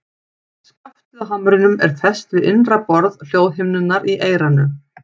Skaftið á hamrinum er fest við innra borð hljóðhimnunnar í eyranu.